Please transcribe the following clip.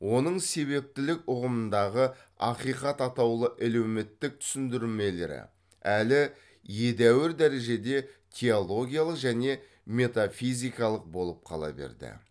оның себептілік ұғымындағы ақиқат атаулы әлеуметтік түсіндірмелері әлі едәуір дәрежеде теологиялық және метафизикалық болып қала берді